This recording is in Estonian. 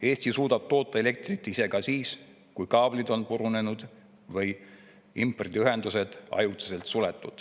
Eesti suudab toota elektrit ise ka siis, kui kaablid on purunenud või impordiühendused ajutiselt suletud.